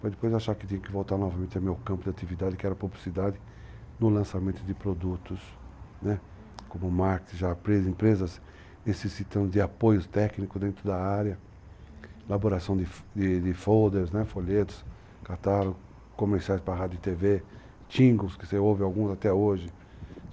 para depois achar que tinha que voltar novamente ao meu campo de atividade, que era a publicidade, no lançamento de produtos, né? uhum, como marketing, já empresas necessitando de apoio técnico dentro da área, uhum, elaboração de folders, folhetos, catálogos, comerciais para a rádio e TV, tingos, que você ouve alguns até hoje.